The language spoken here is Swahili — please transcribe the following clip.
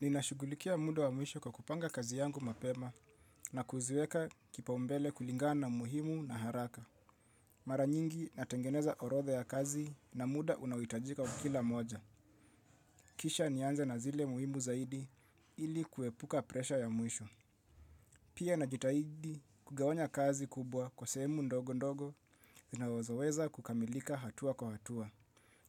Ninashugulikia muda wa mwisho kwa kupanga kazi yangu mapema na kuziweka kipaumbele kulingana na muhimu na haraka. Mara nyingi natengeneza orodha ya kazi na muda unaohitajika wa kila moja. Kisha nianze na zile muhimu zaidi ili kuepuka presha ya mwisho. Pia najitahidi kugawanya kazi kubwa kwa sehemu ndogo ndogo zinawazoweza kukamilika hatua kwa hatua.